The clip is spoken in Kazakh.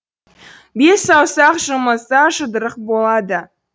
бес саусақ жұмылса жұдырық болады